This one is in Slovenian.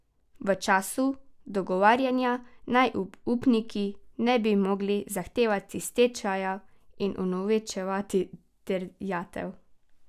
V času dogovarjanja naj upniki ne bi mogli zahtevati stečaja in unovčevati terjatev.